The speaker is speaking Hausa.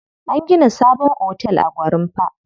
An gina sabon otel a Gwarinpa.